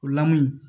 O lamu